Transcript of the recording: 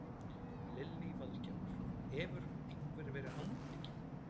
Lillý Valgerður: Hefur einhver verið handtekinn?